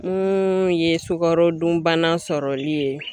Mun ye sukarodunbana sɔrɔli ye